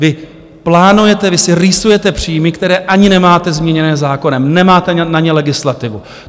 Vy plánujete, vy si rýsujete příjmy, které ani nemáte změněné zákonem, nemáte na ně legislativu.